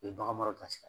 U ye bagan mara sira kan